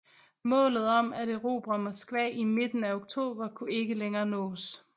Målet om at erobre Moskva i midten af oktober kunne ikke længere nås